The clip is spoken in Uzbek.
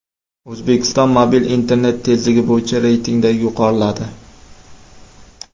O‘zbekiston mobil internet tezligi bo‘yicha reytingda yuqoriladi.